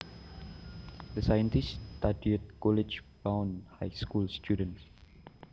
The scientists studied college bound high school students